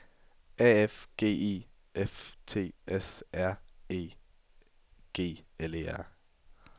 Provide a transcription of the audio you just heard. A F G I F T S R E G L E R